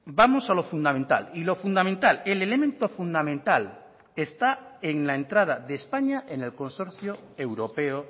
vamos a lo fundamental y lo fundamental el elemento fundamental está en la entrada de españa en el consorcio europeo